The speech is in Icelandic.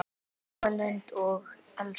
Eva Lind og Elsa.